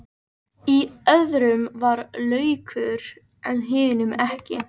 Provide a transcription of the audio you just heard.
Í öðrum var laukur en hinum ekki.